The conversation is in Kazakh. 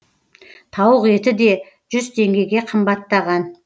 тауық еті де жүз теңгеге қымбаттаған